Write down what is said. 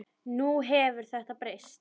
Nú hefur þetta breyst.